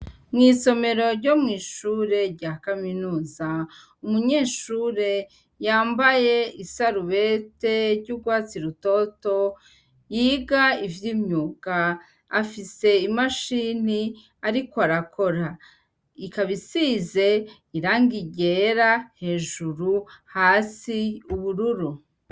Mw'isomero ryo mw'ishuri rya kaminuza umunyeshure yambaye isarubete ry'ugwatsi rutoto yiga ivy'imyuga afise imashini arik'arakora ikaba isize irangi ryera hejuru hasi ubururu.